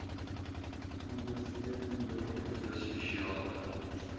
ondersteunende toetse spesiale